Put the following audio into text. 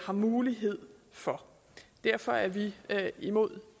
har mulighed for derfor er vi imod